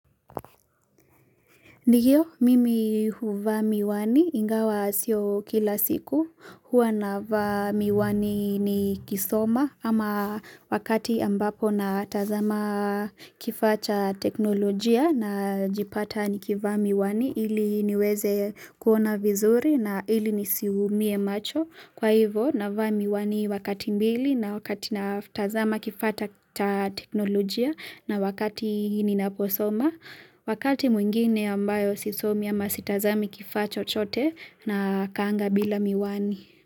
Ndio, mimi huvaa miwani ingawa sio kila siku. Huwa navaa miwani nikisoma ama wakati ambapo na tazama kifaa cha teknolojia, najipata nikiva miwani ili niweze kuona vizuri na ili nisiumie macho. Kwa hivyo, navaa miwani wakati mbili na wakati na tazama kifaa ta teknolojia na wakati ninaposoma, wakati mwingine ambayo sisomi ama sitazami kifaa chochote na kaanga bila miwani.